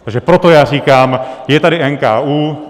Takže proto já říkám, je tady NKÚ.